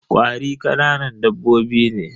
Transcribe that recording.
Ƙwari kananan dabbobi ne.